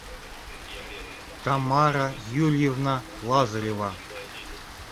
тамара юрьевна лазарева